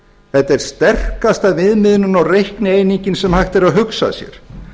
þetta er sterkasta viðmiðunin og reiknieiningin sem hægt er að hugsa sér